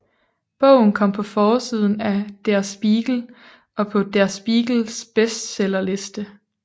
Bogen kom på forsiden af Der Spiegel og på Der Spiegels bestseller liste